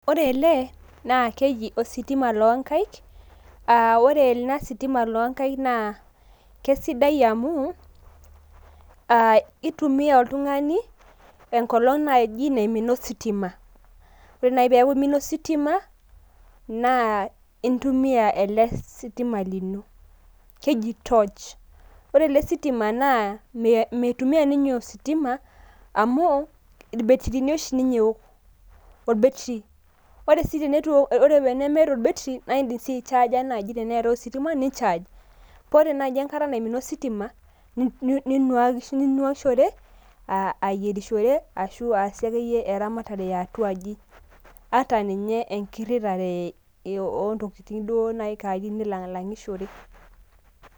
ore ele naa keji ositima loo nkaik . aa ore elesitima loo nkaik naa kesidai amu aa itumia oltung'ani enkolong naji naimina ositima . ore naji peaku imina ositima , naa intumia ele sitima kinyi. keji torch .ore ele sitima naa meitumia ninye ositima amu irbetirini oshi ninye eok , orbetri. ore tenemeeta orbetri naa idim sii aichaaja naji tneetae ositima ninychaj. paa ore naji enkata naimina ositima ninwakishore ,ayierishore ashu aasie akeyie eramatare eatwaji.